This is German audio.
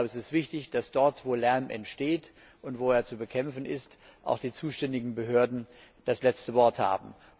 Es ist wichtig, dass dort, wo Lärm entsteht und wo er zu bekämpfen ist, auch die zuständigen Behörden das letzte Wort haben.